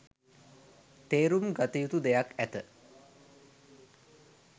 තේරුම් ගතයුතු දෙයක් ඇත